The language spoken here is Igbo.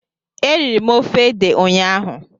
Eriri m ofe ede ụnyaahụ